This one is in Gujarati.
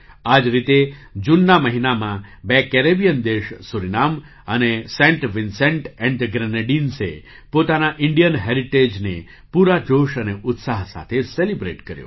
આ જ રીતે જૂનના મહિનામાં બે કેરેબિયન દેશ સૂરીનામ અને સેન્ટ વિન્સેન્ટ ઍન્ડ ધ ગ્રેનેડિન્સે પોતાના ઇન્ડિયન હેરિટેજને પૂરા જોશ અને ઉત્સાહ સાથે સેલિબ્રેટ કર્યો